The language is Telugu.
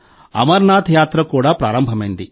అమర్నాథ్ యాత్ర కూడా ప్రారంభమైంది